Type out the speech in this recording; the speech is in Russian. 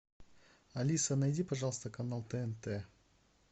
алиса найди пожалуйста канал тнт